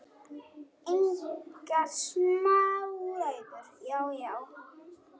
Engar smá ræður!